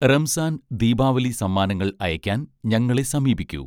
റംസാൻ ദീപാവലി സമ്മാനങ്ങൾ അയക്കാൻ ഞങ്ങളെ സമീപിക്കൂ